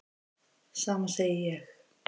Sama segi ég.